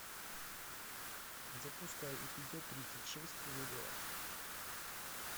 запускай эпизод тридцать шесть логово